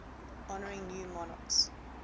honouring new monarchs